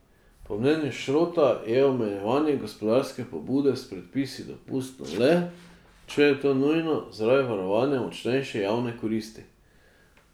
Po mnenju Šrota je omejevanje gospodarske pobude s predpisi dopustno le, če je to nujno zaradi varovanja močnejše javne koristi.